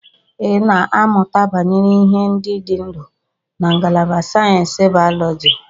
Ị na-amụta banyere ihe ndị dị ndụ na ngalaba sayensị bayoloji.